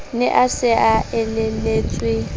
ne a se a elelletswe